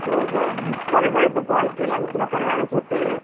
हो ग. बरं झालं तू कॉल केला. मी तुला करणारच होते.